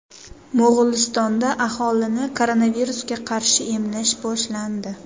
Mo‘g‘ulistonda aholini koronavirusga qarshi emlash boshlandi.